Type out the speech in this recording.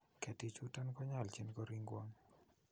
Ketichuton konyolchin koringwong'.